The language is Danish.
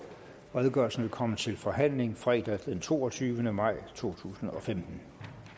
redegørelsen vil komme til forhandling fredag den toogtyvende maj to tusind og femten